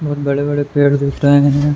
बहोत बड़े-बड़े पेड़ दिख रहे हैं।